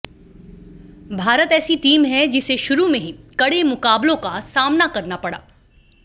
भारत ऐसी टीम है जिसे शुरू में ही कड़े मुकाबलों का सामना करना पड़ा